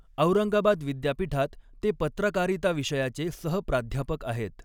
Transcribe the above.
औरंगाबाद विद्यापीठात ते पत्रकारिता विषयाचे सह प्राध्यापक आहेत.